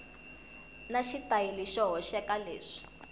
na xitayili xo hoxeka leswi